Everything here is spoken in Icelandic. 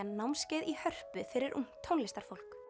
námskeið í Hörpu fyrir ungt tónlistarfólk